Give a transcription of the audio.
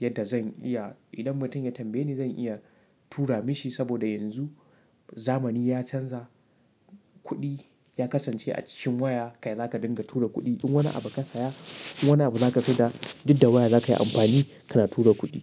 yadda zan iya idan mutum ya tambaye ni zan iya tura mashi. Saboda yanzu zamani ya canza kuɗi ya kasance a cikin waya ka za ka dinga tura kuɗi. In wani abu ka saya, in wani abu za ka siyar da, duk da waya za ka yi amfani ka na tura kuɗi.